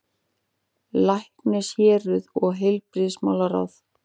LÆKNISHÉRUÐ OG HEILBRIGÐISMÁLARÁÐ